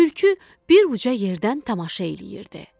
Tülkü bir uca yerdən tamaşa eləyirdi.